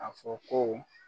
A fɔ ko